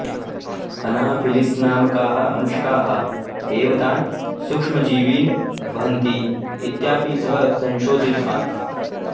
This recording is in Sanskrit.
अनाफिलिस्नामकाः मषकाः एव तान् सूक्ष्मजीवीन् वहन्ति इत्यपि सः संशोधितवान्